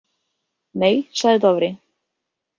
Nei, sagði Dofri.